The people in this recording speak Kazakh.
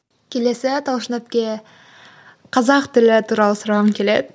келесі талшын әпке қазақ тілі туралы сұрағым келеді